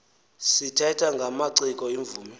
sithetha ngamaciko iimvumi